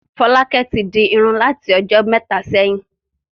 Fọ́lákẹ́ tí di irun láti ọjọ́ mẹ́ta sẹ́yìn.